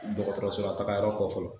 Dɔgɔtɔrɔsɔra tagayɔrɔ kɔ fɔlɔ